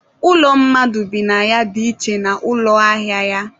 ụlọ mmadụ bi na ya dị iche na ụlọ ahịa ya.